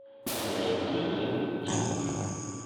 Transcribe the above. найди еву тимуш